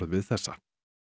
við þessa